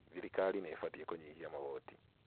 thirikari nĩibatiĩ kũnyihia magoti